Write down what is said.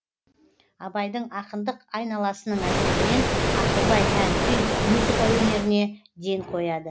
абайдың ақындық айналасының әсерінен ақылбай ән күй музыка өнеріне ден қояды